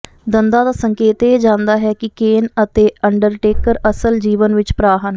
ਦੰਦਾਂ ਦਾ ਸੰਕੇਤ ਇਹ ਜਾਂਦਾ ਹੈ ਕਿ ਕੇਨ ਅਤੇ ਅੰਡਰਟੇਕਰ ਅਸਲ ਜੀਵਨ ਵਿਚ ਭਰਾ ਹਨ